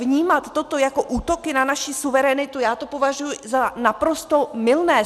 Vnímat toto jako útoky na naši suverenitu, já to považuji za naprosto mylné.